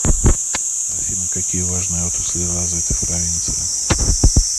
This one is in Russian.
афина какие важные отрасли развиты в провинции